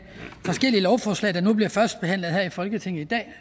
forskellige lovforslag der nu bliver førstebehandlet her i folketinget i dag